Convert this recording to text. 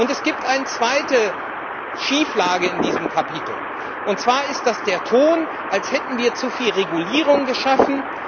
Es gibt eine zweite Schieflage in diesem Kapitel, und zwar ist das der Ton, als hätten wir zu viel Regulierung geschaffen.